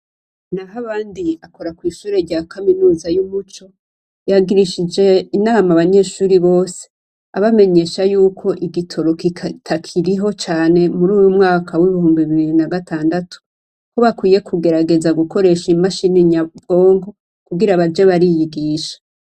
Nahabandi akora kw'ishure rya kaminuza ry'Ubuca, yagirishije inama abanyeshure bose abamenyesha yuko igitoro kitakiriho cane muruy mwaka w'ibihumbi bibiri na gatandatu. Ko bakwiye kugerageza gukoresha i mashini nyabwonko kugira baje bariyigisha.